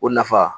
O nafa